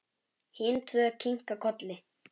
Hin tvö kinka kolli.